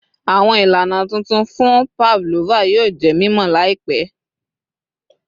Awọn ilana tuntun fun pavlova yoo jẹ mimọ Lai pẹ